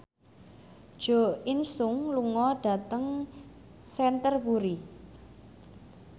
Jo In Sung lunga dhateng Canterbury